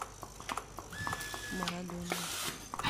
марадона